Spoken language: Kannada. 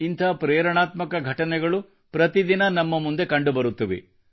ಇಂಥ ಪ್ರೇರಣಾತ್ಮಕ ಘಟನೆಗಳು ಪ್ರತಿದಿನ ನಮ್ಮ ಮುಂದೆ ಕಂಡುಬರುತ್ತವೆ